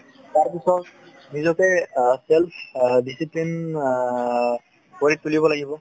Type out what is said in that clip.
তাৰ পিছত নিজকে অ self discipline অ হৈ চলিব লাগিব।